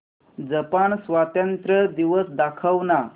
Japan स्वातंत्र्य दिवस दाखव ना